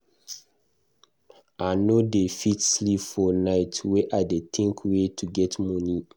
I no dey fit sleep for night were I dey tink where to get money.